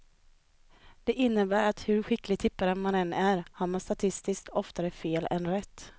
Det innebär att hur skicklig tippare man än är har man statistiskt oftare fel än rätt.